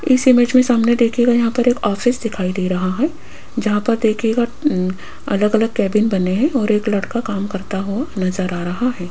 इस इमेज में सामने देखियेगा यहाँ पर एक ऑफिस दिखाई दे रहा है जहां पर देखियेगा अं अलग-अलग कैबिन बने हैं और एक लड़का काम करता हुआ नजर आ रहा है।